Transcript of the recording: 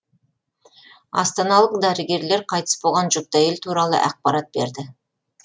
астаналық дәрігерлер қайтыс болған жүкті әйел туралы ақпарат берді